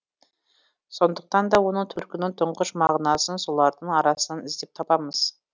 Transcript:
сондықтан да оның төркінін тұңғыш мағынасын солардың арасынан іздеп табамыз